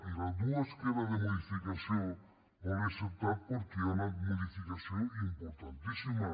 i les dues que eren de modificació no les hi he acceptat perquè hi ha una modificació importantíssima